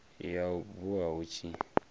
ya u bua hu tshi